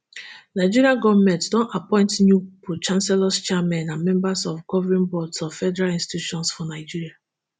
nigeria goment don appoint new prochancellors chairmen and members of governing boards of federal institutions for nigeria